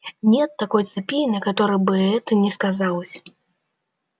нет такой цепи на которой бы это не сказалось